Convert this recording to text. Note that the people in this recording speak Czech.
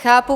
Chápu.